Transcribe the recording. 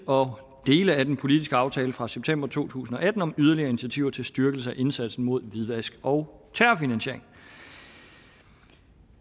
og dele af den politiske aftale fra september to tusind og atten om yderligere initiativer til styrkelse af indsatsen mod hvidvask og terrorfinansiering